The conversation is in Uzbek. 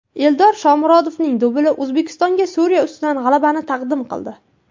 Eldor Shomurodovning dubli O‘zbekistonga Suriya ustidan g‘alabani taqdim qildi .